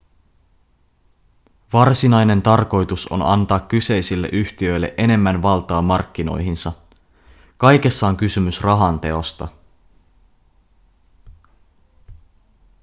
varsinainen tarkoitus on antaa kyseisille yhtiöille enemmän valtaa markkinoihinsa kaikessa on kysymys rahan teosta